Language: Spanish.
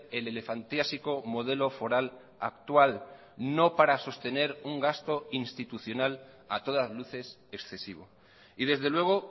el elefantiásico modelo foral actual no para sostener un gasto institucional a todas luces excesivo y desde luego